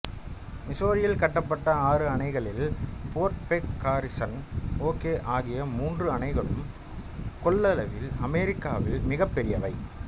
மிசௌரியில் கட்டப்பட்ட ஆறு அணைகளில் போர்ட் பெக் காரிசன் ஓகே ஆகிய மூன்று அணைகளும் கொள்ளவில் அமெரிக்காவில் மிகப்பெரியவை